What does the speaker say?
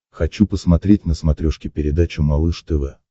хочу посмотреть на смотрешке передачу малыш тв